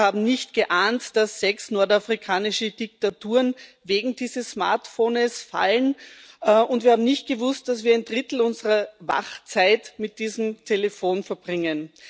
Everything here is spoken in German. Wir haben nicht geahnt, dass sechs nordafrikanische Diktaturen wegen dieses Smartphones fallen, und wir haben nicht gewusst, dass wir ein Drittel unserer Wachzeit mit diesem Telefon verbringen.